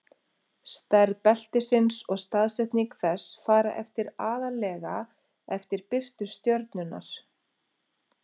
stærð beltisins og staðsetning þess fara eftir aðallega eftir birtu stjörnunnar